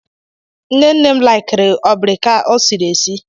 Nne nne m laikiri obrika esiri esi.